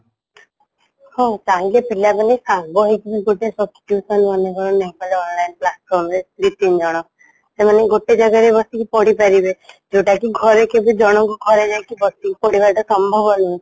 ହଁ ଚାହିଁଲେ ପିଲାମାନେ ସାଙ୍ଗହେଇକିବି ଗୋଟେ subscription ମନେକର ନେଇଗଲେ online platform ରେ ଦୁଇ ତିନି ଜଣ ସେମାନେ ଗୋଟେ ଜାଗାରେ ବେସିକିରି ପଢିପାରିବେ ଯୋଉଟାକି ଘରେ କେବେ ଜଣଙ୍କୁ ଜଣେ ଘରେ ବସିକି ପଢିବା ସମ୍ଭବ ନୁହେଁ